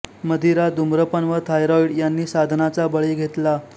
मदिरा धूम्रपान व थायरॉइड यांनी साधनाचा बळी घेतला